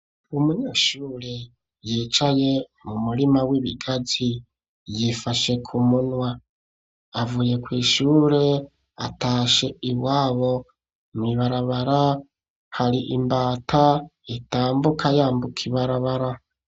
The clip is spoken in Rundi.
Umunyeshure yicaye mu murima w'ibigazi yifashe ku munwa avuye kw' ishure atashe iwabo, mw' ibarabara hari imbata itambuka yambuka ibarabara.